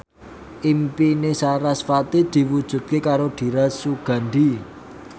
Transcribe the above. impine sarasvati diwujudke karo Dira Sugandi